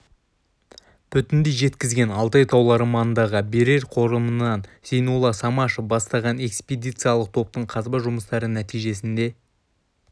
бүтіндей жеткізген алтай таулары маңындағы берел қорымынан зейнолла самашев бастаған экспедициялық топтың қазба жұмыстары нәтижесінде